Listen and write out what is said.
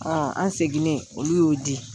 an seginnen, olu y'o di.